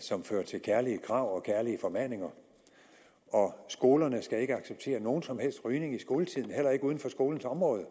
som fører til kærlige krav og kærlige formaninger og skolerne skal ikke acceptere nogen som helst rygning i skoletiden heller ikke uden for skolens område